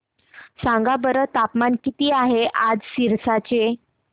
सांगा बरं तापमान किती आहे आज सिरसा चे